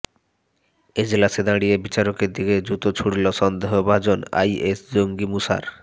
এজলাসে দাঁড়িয়ে বিচারকের দিকে জুতো ছুড়ল সন্দেহভাজন আইএস জঙ্গি মুসার